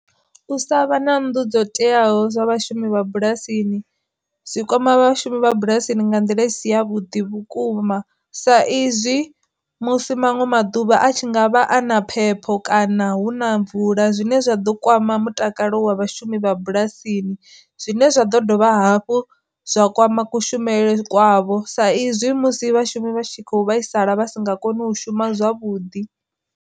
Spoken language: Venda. U sa vha na nnḓu dzo teaho zwa vhashumi vha bulasini, zwi kwama vhashumi vha bulasini nga nḓila i si ya vhuḓi vhukuma sa izwi musi manwe maḓuvha a tshi nga vha ana phepho kana hu na na mvula zwine zwa ḓo kwama mutakalo wa vhashumi vha bulasini, zwine zwa ḓo dovha hafhu zwa kwama kushumele kwavho sa izwi musi vhashumi vha tshi khou vhaisala vha si nga koni u shuma zwavhuḓi.